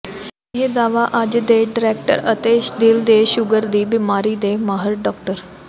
ਇਹ ਦਾਅਵਾ ਅੱਜ ਹਸਪਤਾਲ ਦੇ ਡਾਇਰੈਕਟਰ ਅਤੇ ਦਿਲ ਤੇ ਸ਼ੂਗਰ ਦੀ ਬੀਮਾਰੀ ਦੇ ਮਾਹਰ ਡਾ